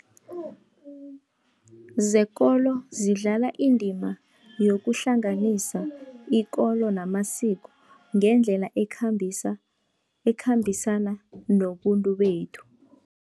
Zekolo zidlala indima yokuhlanganisa ikolo namasiko, ngendlela ekhambisana nobuntu bethu.